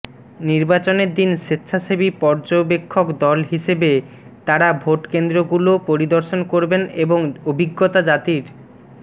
নির্বাচনের দিন স্বেচ্ছাসেবী পর্যবেক্ষক দল হিসেবে তারা ভোটকেন্দ্রগুলো পরিদর্শন করবেন এবং অভিজ্ঞতা জাতির